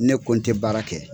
Ne ko n tɛ baara kɛ.